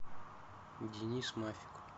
денис мафик